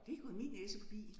Det er gået min næse forbi